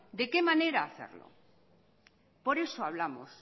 de qué manera hacerlo por eso hablamos